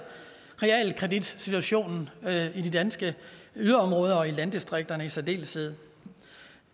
realkreditsituationen i de danske yderområder og i landdistrikterne i særdeleshed